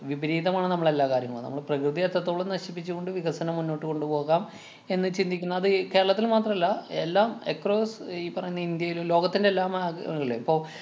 വിപരീതമാണ് നമ്മള് എല്ലാ കാര്യങ്ങളും. നമ്മള് പ്രകൃതിയെ എത്രത്തോളം നശിപ്പിച്ചു കൊണ്ട് വികസനം മുന്നോട്ടു കൊണ്ടുപോകാം എന്ന് ചിന്തിക്കുന്നു. അത് കേരളത്തില്‍ മാത്രല എല്ലാം across ഈ പറയുന്ന ഇന്ത്യേലും, ലോകത്തിന്‍റെ എല്ലാ മാഗ്~ ങ്ങളില്ലേ. പ്പൊ